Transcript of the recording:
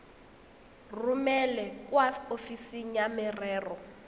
romele kwa ofising ya merero